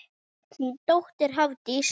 Þín dóttir Hafdís.